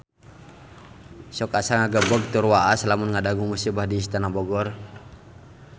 Sok asa ngagebeg tur waas lamun ngadangu musibah di Istana Bogor